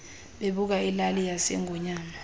bebuka ilali yasengonyama